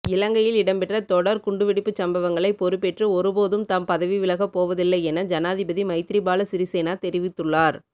இலங்கையில் இடம்பெற்ற தொடர் குண்டு வெடிப்புச் சம்பவங்களை பொறுப்பேற்று ஒருபோதும் தாம் பதவிவிலகப்போவதில்லையென ஜனாதிபதி மைத்திரிபால சிறிசேன தெரிவித்துள்ளார்